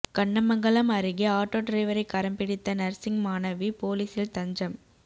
கண்ணமங்கலம் அருகே ஆட்டோ டிரைவரை கரம் பிடித்த நர்சிங் மாணவி போலீசில் தஞ்சம்